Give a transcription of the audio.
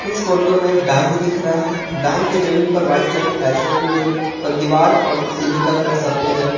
इस फोटो में एक बैंक दिख रहा हैं बैंक के जमीन पर वाइट कलर की टाईल्स लगी हुई है दीवार और सीलिंग का कलर सफेद है।